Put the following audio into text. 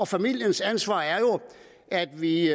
familiens ansvar at vi